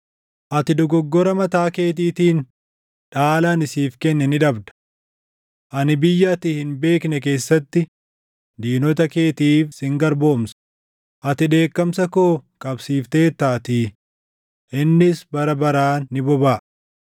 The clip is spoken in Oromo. Ati dogoggora mataa keetiitiin dhaala ani siif kenne ni dhabda. Ani biyya ati hin beekne keessatti diinota keetiif sin garboomsa; ati dheekkamsa koo qabsiifteertaatii; innis bara baraan ni bobaʼa.”